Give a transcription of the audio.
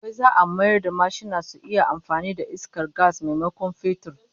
Wai za'a mayar da mashina su iya amfani da iskar gas maimakon fetur?